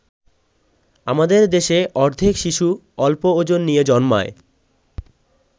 আমাদের দেশে অর্ধেক শিশু অল্প ওজন নিয়ে জন্মায়।